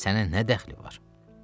Axı sənə nə dəxli var?